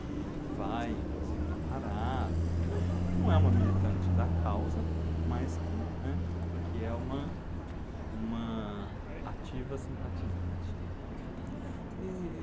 que vai inclusive na parada, entendeu? Que não é uma militante da causa, mas que é uma uma ativa simpatizante. E...